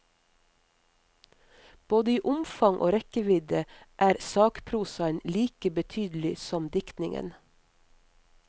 Både i omfang og rekkevidde er sakprosaen like betydelig som diktningen.